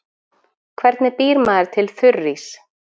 Hvernig býr maður til þurrís?